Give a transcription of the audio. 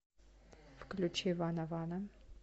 включи вана вана